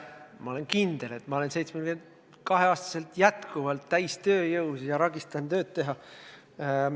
Ma olen kindel, et olen 72-aastaselt endiselt täies tööjõus ja ragistan tööd teha.